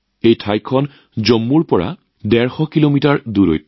এই ঠাইখন জম্মুৰ পৰা ১৫০ কিলোমিটাৰ দূৰত